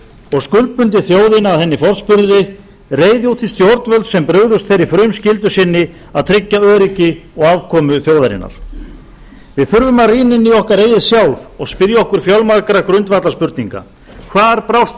og skuldbundið þjóðina að henni forspurðri reiði út í stjórnvöld sem brugðust þeirri frumskyldu sinni að tryggja öryggi og afkomu þjóðarinnar við þurfum að rýna inn í okkar eigið sjálf og spyrja okkur fjölmargra grundvallarspurninga hvar brást